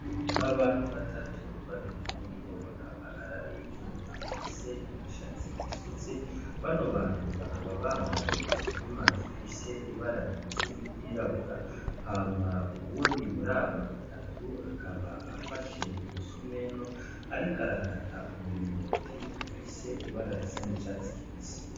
Abantu batatu babiri muribo bakaba ari abigeme bafise imishatsi isutse, bano bantu bakaba bambaye inkimpa zifise ibara rimeze nk'iryirabura, hama uwundi muri aba batatu akaba afashe umusumeno ariko arakata umuringoti ufise ibara risa n'icatsi kibisi.